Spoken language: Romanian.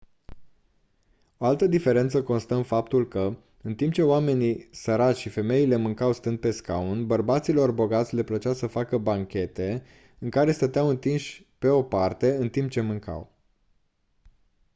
o altă diferență consta în faptul că în timp ce oamenii săraci și femeile mâncau stând pe scaun bărbaților bogați le plăcea să facă banchete în care stăteau întinși pe o parte în timp ce mâncau